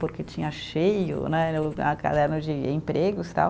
Porque tinha cheio né, a caderno de empregos, tal.